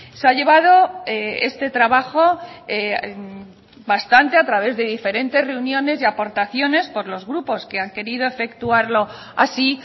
se ha llevado este trabajo bastante a través de diferentes reuniones y aportaciones por los grupos que han querido efectuarlo así